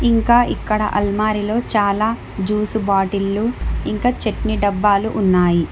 ఇంకా ఇక్కడ అల్మారిలో చాలా జూసు బాటిళ్లు ఇంకా చట్నీ డబ్బాలు ఉన్నాయి.